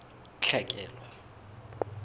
tlhekelo